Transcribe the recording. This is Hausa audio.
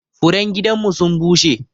Furen gidan mu sun bushe.